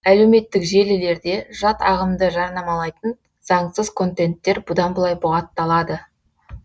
әлеуметтік желілерде жат ағымды жарнамалайтын заңсыз контенттер бұдан былай бұғатталады